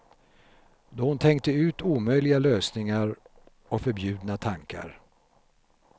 Då hon tänkte ut omöjliga lösningar och förbjudna tankar.